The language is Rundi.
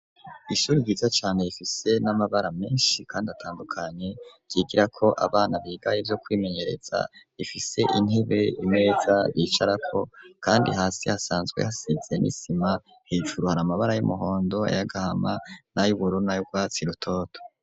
Ishuri ryiza cane ifise n'amabara menshi kandi atandukanye, ryigira ko abana bigaye byo kwimenyereza ifise intebe imeza bicarako kandi hasi hasanzwe hasize n'isima, hejuru har’amabara y'umuhondo n’ayagahama n’ayubururu nay'urwatsi rutoto.